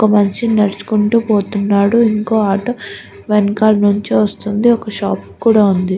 ఒక మనిషి నడుచుకుంటూ పోతున్నాడు ఇంకో ఆటో వెనకాల నుంచి వస్తుంది ఒక షాప్ కూడా ఉంది.